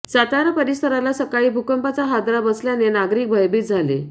सातारा परिसराला सकाळी भूकंपाचा हादरा बसल्याने नागरिक भयभीत झाले